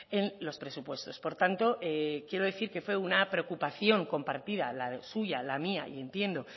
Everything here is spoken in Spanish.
en los presupuestos por tanto quiero decir que fue una preocupación compartida la suya la mía y entiendo